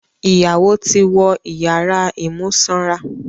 Ìyàwó ti wọ́n ìyàrá ìmúsanra